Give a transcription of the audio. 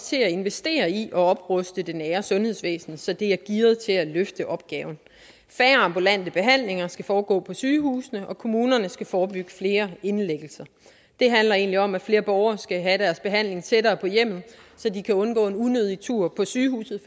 til at investere i at opruste det nære sundhedsvæsen så det er gearet til at løfte opgaven færre ambulante behandlinger skal foregå på sygehusene og kommunerne skal forebygge flere indlæggelser det handler egentlig om at flere borgere skal have deres behandling tættere på hjemmet så de kan undgå en unødig tur på sygehuset